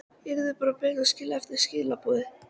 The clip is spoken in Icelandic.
Yrði bara beðin að skilja eftir skilaboð.